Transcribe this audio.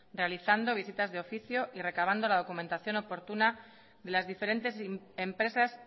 realizando visitas de oficio y recabando la documentación oportuna de las diferentes empresas